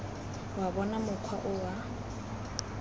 wa bona mokgwa o wa